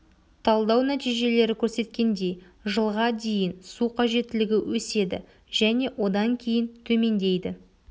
талдау нәтижелері көрсеткендей жылға дейін су қажеттілігі өседі және одан кейін төмендейді